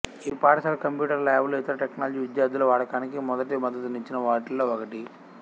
ఈ పాఠశాల computer lab లు ఇతర టేక్నాలజీ విద్యార్థుల వాడకానికి మొదట మద్దతు నిచ్చిన వాటిలో ఒకటి